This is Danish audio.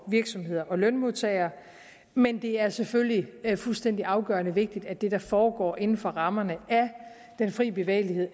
virksomheder og lønmodtagere men det er selvfølgelig fuldstændig afgørende vigtigt at det der foregår inden for rammerne af den frie bevægelighed